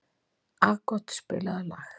Aagot, spilaðu lag.